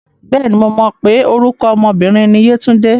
Bẹ́ẹ̀ni, mo mọ̀ pé orúkọ ọmọ obìnrin ni Yétúndé.